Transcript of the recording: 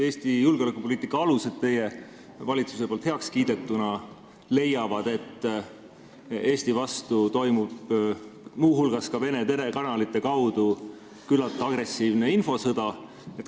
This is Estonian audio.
Eesti julgepoliitika alused, mille teie valitsus on heaks kiitnud, leiavad, et Eesti vastu toimub muu hulgas Vene telekanalite kaudu küllalt agressiivne infosõda.